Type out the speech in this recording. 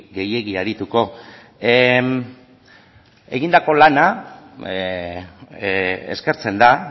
gehiegi arituko egindako lana eskertzen da